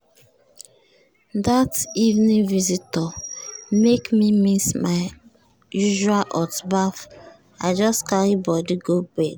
i dey like baff before i go crash but this night gbege delay everything.